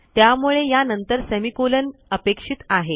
त्यामुळे यानंतर सेमिकोलॉन अपेक्षित आहे